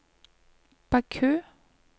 Baku